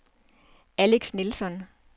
Alex Nilsson